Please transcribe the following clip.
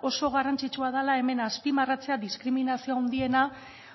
oso garrantzitsua dela hemen azpimarratzea diskriminazio handiena